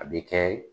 A bɛ kɛ